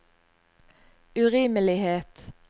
urimelighet